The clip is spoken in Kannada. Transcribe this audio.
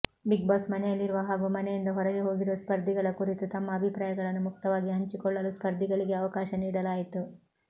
ಬಿಗ್ಬಾಸ್ ಮನೆಯಲ್ಲಿರುವ ಹಾಗೂ ಮನೆಯಿಂದ ಹೊರಗೆ ಹೋಗಿರುವ ಸ್ಪರ್ಧಿಗಳ ಕುರಿತು ತಮ್ಮ ಅಭಿಪ್ರಾಯಗಳನ್ನು ಮುಕ್ತವಾಗಿ ಹಂಚಿಕೊಳ್ಳಲು ಸ್ಪರ್ಧಿಗಳಿಗೆ ಅವಕಾಶ ನೀಡಲಾಯಿತು